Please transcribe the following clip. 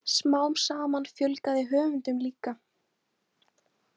Smám saman fjölgaði höfundum líka.